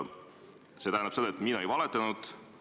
See tähendab seda, et mina ei valetanud.